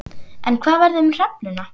En hvað verður um hrefnuna?